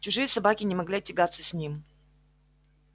чужие собаки не могли тягаться с ним